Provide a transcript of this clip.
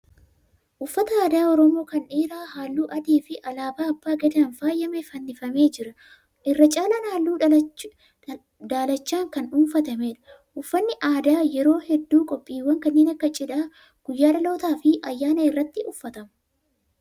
Uffata aadaa Oromoo kan dhiiraa halluu adii fi alaabaa abbaa gadaan faayame fannifamee jira. Irra caala halluu daalachaan kan dhuunfatameedha. Uffanni aadaa yeroo hedduu qophiiwwan kannee akka cidhaa, guyyaa dhalootaa fi ayyaana irratti uffatama.